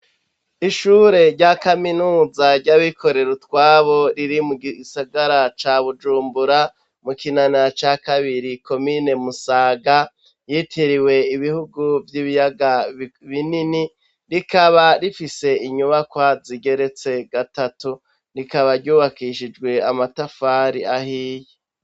Ishure rya kaminuza ry'abikorera utwabo riri mu gisagara ca Bujumbura, mu Kinanira ca kabiri komine Musaga, yitiriwe ibihugu vy'ibiyaga binini, rikaba rifise inyubakwa zigeretse gatatu. Rikaba ryubakishijwe amatafari ahiye.